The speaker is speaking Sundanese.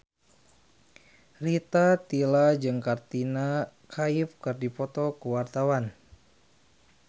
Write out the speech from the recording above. Rita Tila jeung Katrina Kaif keur dipoto ku wartawan